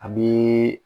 A bi